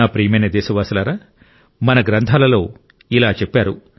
నా ప్రియమైన దేశ వాసులారా మన గ్రంథాలలో ఇలా చెప్పారు